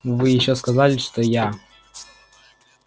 и вы ещё сказали что я